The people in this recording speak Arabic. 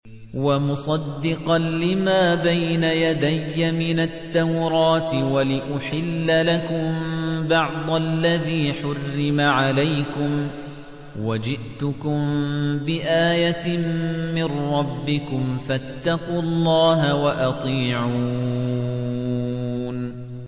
وَمُصَدِّقًا لِّمَا بَيْنَ يَدَيَّ مِنَ التَّوْرَاةِ وَلِأُحِلَّ لَكُم بَعْضَ الَّذِي حُرِّمَ عَلَيْكُمْ ۚ وَجِئْتُكُم بِآيَةٍ مِّن رَّبِّكُمْ فَاتَّقُوا اللَّهَ وَأَطِيعُونِ